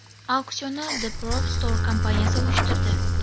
Auksionni The Prop Store kompaniyasi uyushtirdi.